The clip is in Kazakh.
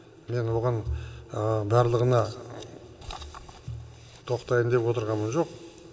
мен оған барлығына тоқтайын деп отырғаным жоқ